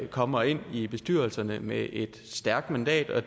kommer ind i bestyrelserne med et stærkt mandat og